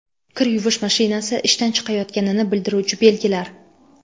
Kir yuvish mashinasi ishdan chiqayotganini bildiruvchi belgilar.